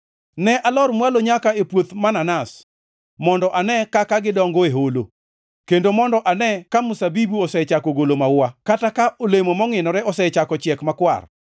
Ne alor mwalo nyaka e puoth mananas, mondo ane kaka gidongo e holo, kendo mondo ane ka mzabibu osechako golo maua kata ka olemo mongʼinore osechako chiek makwar.